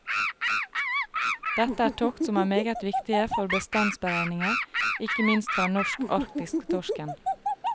Dette er tokt som er meget viktige for bestandsberegninger, ikke minst for den norsk arktiske torsken.